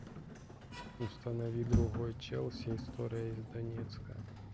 установи другой челси история из донецка